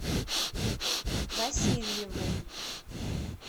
васильеву